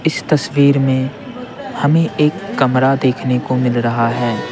इस तस्वीर में हमें एक कमरा देखने को मिल रहा है।